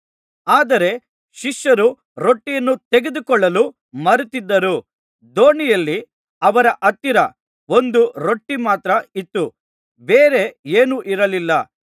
ಆದರೆ ಶಿಷ್ಯರು ರೊಟ್ಟಿಯನ್ನು ತೆಗೆದುಕೊಳ್ಳಲು ಮರೆತಿದ್ದರು ದೋಣಿಯಲ್ಲಿ ಅವರ ಹತ್ತಿರ ಒಂದು ರೊಟ್ಟಿ ಮಾತ್ರ ಇತ್ತು ಬೇರೆ ಏನೂ ಇರಲಿಲ್ಲ